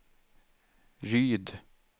Ryd